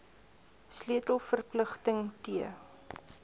sleutel verpligting t